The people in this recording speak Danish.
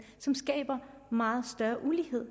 som skaber meget større ulighed